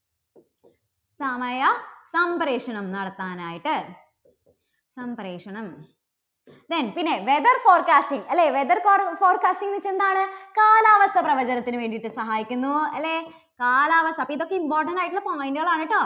സമയ സംപ്രേഷണം നടത്താൻ ആയിട്ട്. സംപ്രേഷണം. when പിന്നെ weather forecasting അല്ലേ weather for forecasting എന്നുവച്ചാൽ എന്താണ് കാലാവസ്ഥാ പ്രവചനത്തിനു വേണ്ടിയിട്ട് സഹായിക്കുന്നു അല്ലേ? കാലാവസ്ഥ, ഇപ്പോ ഇതൊക്കെ important ആയിട്ടുള്ള point കൾ ആണ് കേട്ടോ.